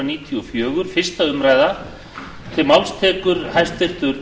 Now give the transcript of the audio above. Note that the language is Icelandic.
virðulegi forseti ég mæli hér fyrir frumvarpi til laga um